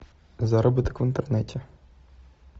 заработок в интернете